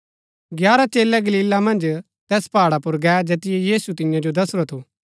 ग्यारह चेलै गलीला मन्ज तैस पहाड़ा पुर गै जैतिओ यीशुऐ तियां जो दसुरा थु